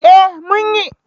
Eh mun yi